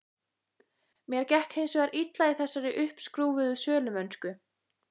Mér gekk hins vegar illa í þessari uppskrúfuðu sölumennsku.